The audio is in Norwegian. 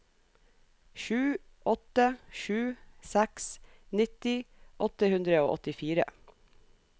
sju åtte sju seks nitti åtte hundre og åttifire